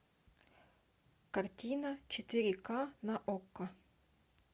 картина четыре к на окко